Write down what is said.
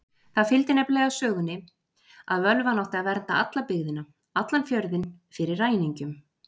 Það fylgdi nefnilega sögunni að völvan átti að vernda alla byggðina, allan fjörðinn, fyrir ræningjum.